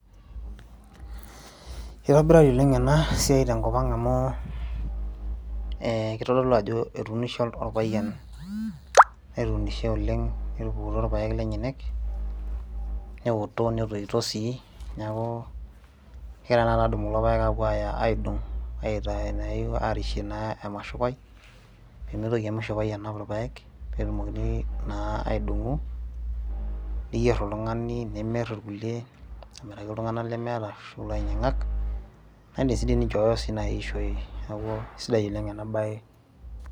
kitobirari oleng ena siai tenkop ang amu eh, kitodolu ajo etunishe orpayian netunishe oleng netupukutuo irpayek lenyenak neoto netoito sii neeku kegira taata adumu kulo payek apuo aya aidong aitaa naa arishie naa emashupai pemitoki emashupai anap irpayek petumokini naa aidong'o niyierr oltung'ani nimirr irkulie amiraki iltung'anak lemeeta ashu ilainyiang'ak naindim sii dii ninchooyo si naaji aishoi niaku isidai oleng ena baye.